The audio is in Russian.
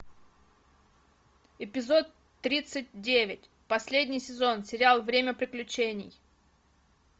эпизод тридцать девять последний сезон сериал время приключений